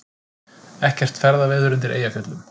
Ekkert ferðaveður undir Eyjafjöllum